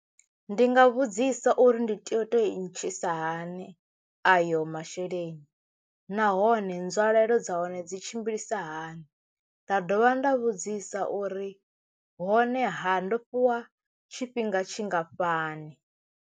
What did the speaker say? Ndi nga vhudzisa uri ndi tea u to i ntshuwisa hani ayo masheleni nahone nzwalelo dza hone dzi tshimbilisa hani, nda dovha nda vhudzisa uri hone ha ndo fhiwa tshifhinga tshingafhani.